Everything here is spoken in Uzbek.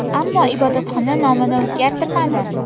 Ammo ibodatxona nomini o‘zgartirmadi .